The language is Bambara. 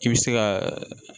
I bɛ se ka